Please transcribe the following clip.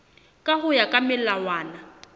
ka ho ya ka melawana